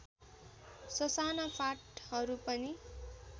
ससाना फाँटहरू पनि